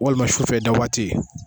Walima sufɛ i dawaati.